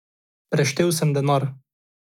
Preštel sem denar.